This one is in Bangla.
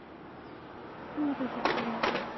তুমি তো চুপ করে আছো